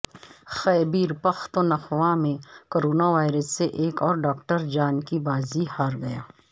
خیبر پختونخوا میں corona virus سے ایک اور ڈاکٹر جان کی بازی ہار گیا